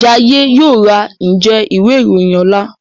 Jaiye yóò rá Njé Ìwé-ìròyìn ọlá.